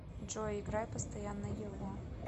джой играй постоянно его